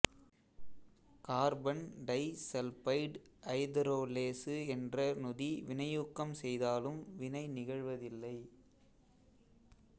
carbon disulphide ஐதரோலேசு என்ற நொதி வினையூக்கம் செய்தாலும் வினை நிகழ்வதில்லை